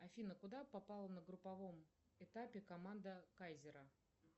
афина куда попала на групповом этапе команда кайзера